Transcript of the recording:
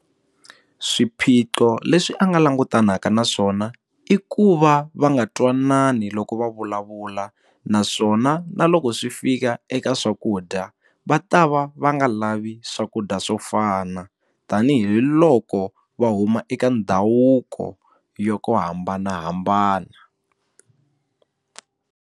Swiphiqo leswi a nga langutanaka na swona i ku va va nga twanani loko va vulavula naswona na loko swi fika eka swakudya va ta va va nga lavi swakudya swo fana tanihiloko va huma eka ndhavuko yo hambanahambana.